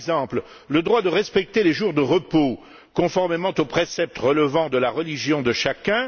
Par exemple, le droit de respecter les jours de repos, conformément aux préceptes relevant de la religion de chacun.